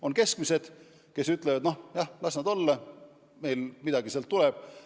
On keskmised bürood, kes ütlevad, et las need nõuded olla, neile midagi tänu nendele tuleb.